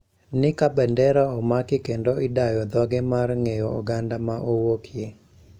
Ni kabendera omaki kendo idayo dhoge mar ng`eyo oganda ma owuokie